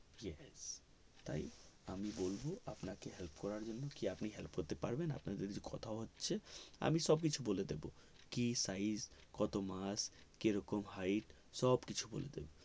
সে থাক তাই আমি বলবো আপনাকে help করার জন্য কি আপনি help করতে পারবেন আপনার যেহেতু কথা হচ্ছে আমি সব কিছু বলে দেব কি size কত মাছ কি রকম hight সব কিছু বলে দেব